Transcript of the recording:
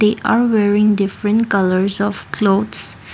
they are wearing different colours of clothes.